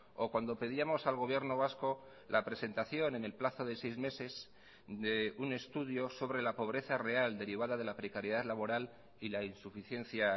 o cuando pedíamos al gobierno vasco la presentación en el plazo de seis meses de un estudio sobre la pobreza real derivada de la precariedad laboral y la insuficiencia